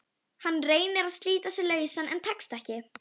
Hann reynir að slíta sig lausan en tekst ekki.